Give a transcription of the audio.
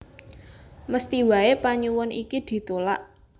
Mesthi waé panyuwun iki ditulak